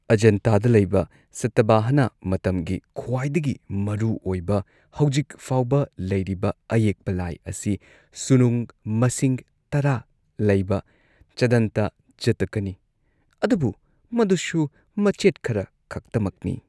ꯑꯖꯟꯇꯗ ꯂꯩꯕ ꯁꯇꯚꯥꯍꯅ ꯃꯇꯝꯒꯤ ꯈ꯭ꯋꯥꯏꯗꯒꯤ ꯃꯔꯨꯑꯣꯏꯕ ꯍꯧꯖꯤꯛ ꯐꯥꯎꯕ ꯂꯩꯔꯤꯕ ꯑꯌꯦꯛꯄ ꯂꯥꯏ ꯑꯁꯤ ꯁꯨꯅꯨꯡ ꯃꯁꯤꯡ ꯇꯔꯥ ꯂꯩꯕ ꯆꯗꯟꯇ ꯖꯇꯀꯅꯤ ꯑꯗꯨꯕꯨ ꯃꯗꯨꯁꯨ ꯃꯆꯦꯠ ꯈꯔ ꯈꯛꯇꯃꯛꯅꯤ꯫